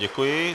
Děkuji.